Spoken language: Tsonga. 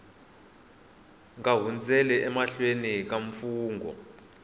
nga hundzeli emahlweni ka mfungho